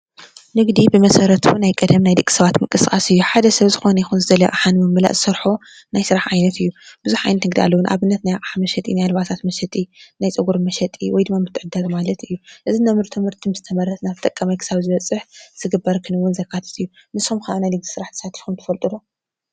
ንግዲ ብመሰረቱ ናይ ቀደም ናይ ደቂ ሰባት ንምቅስቃስ እዩ ።ሓደ ሰብ ዝደለዮ ዝኮነ ይኩን ኣቅሓን ምምላእ ዝሰርሖ ናይ ስራሕ ዓይነት እዩ። ቡዙሕ ዓይነት ንግዲ ኣለዉ ፡፡ንኣብነት ናይ ኣቅሓ መሽጢ፣ ናይ ኣልባሳት መሸጢ ፣ናይ ፀጉሪ መሸጢእዚ ትምህርቲ ምስ ተመርቅና ጥቅም ክሳብ ዝወፅእ ዝግበር ክንዉን ዘካትት እዩ። ንስኩም ከ ኣአብ ናይ ንግዲ ስራሕ ተዋፊርኩም ትክእሉ ዶ?